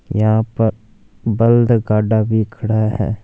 यहां पर बल्द भी खड़ा है।